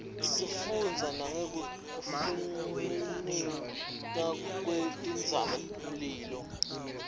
isifundzisa nangekfnticka kuetintsaba mlilo